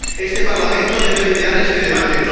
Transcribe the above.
Este Parlamento debe liderar este debate.